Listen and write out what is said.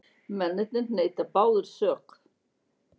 Mennirnir neita báðir sök